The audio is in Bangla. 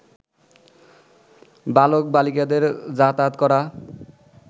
বালক-বালিকাদের যাতায়াত করা